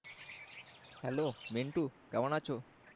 HelloMintu কেমন আছো?